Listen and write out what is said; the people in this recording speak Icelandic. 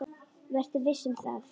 Vertu viss um það.